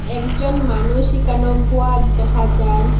একজন মানুষ এখানো বুহাত দেখা যার--